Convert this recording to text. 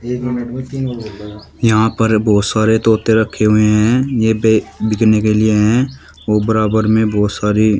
यहां पर बहुत सारे तोते रखे हुए हैं यही पे बिकने के लिए हैं व बराबर में बहुत सारी--